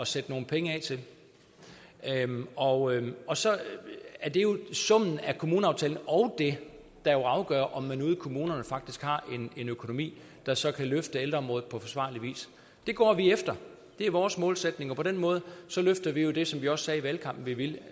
sætte nogle penge af til og og så er det jo summen af kommuneaftalen og det der afgør om man ude i kommunerne faktisk har en økonomi der så kan løfte ældreområdet på forsvarlig vis det går vi efter det er vores målsætning og på den måde løfter vi jo det som vi også sagde i valgkampen at vi ville